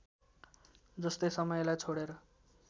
जस्तै समयलाई छोडेर